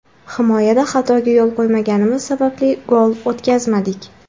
Himoyada xatoga yo‘l qo‘ymaganimiz sababli gol o‘tkazmadik.